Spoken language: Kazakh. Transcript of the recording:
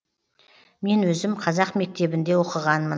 мен өзім қазақ мектебінде оқығанмын